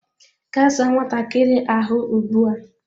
Gaa saa nwatakiri ahu ugbu a!